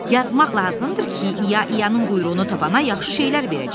Yazmaq lazımdır ki, İya-İyanın quyruğunu tapana yaxşı şeylər verəcəyik.